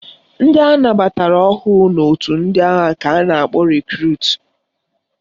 Ndị anabatara ọhụrụ n' otu ndị agha ka a na-akpọ Rekrut.